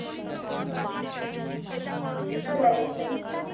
হম history আর life science